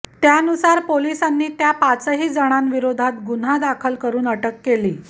त्यानुसार पोलिसांनी त्या पाचही जणांविरोधात गुन्हा दाखल करून अटक केली